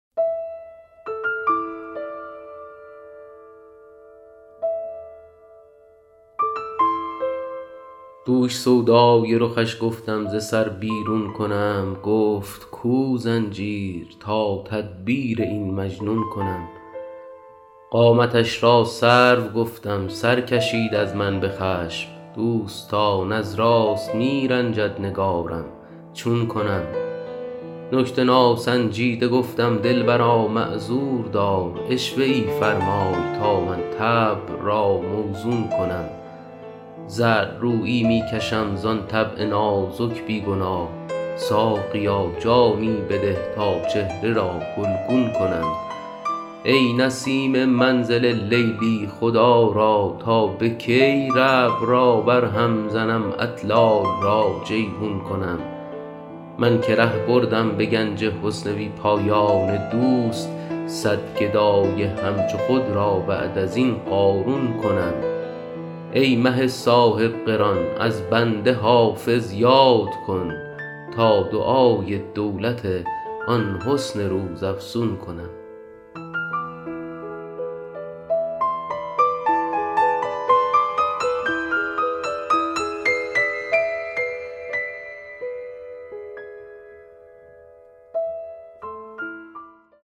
دوش سودای رخش گفتم ز سر بیرون کنم گفت کو زنجیر تا تدبیر این مجنون کنم قامتش را سرو گفتم سر کشید از من به خشم دوستان از راست می رنجد نگارم چون کنم نکته ناسنجیده گفتم دلبرا معذور دار عشوه ای فرمای تا من طبع را موزون کنم زردرویی می کشم زان طبع نازک بی گناه ساقیا جامی بده تا چهره را گلگون کنم ای نسیم منزل لیلی خدا را تا به کی ربع را برهم زنم اطلال را جیحون کنم من که ره بردم به گنج حسن بی پایان دوست صد گدای همچو خود را بعد از این قارون کنم ای مه صاحب قران از بنده حافظ یاد کن تا دعای دولت آن حسن روزافزون کنم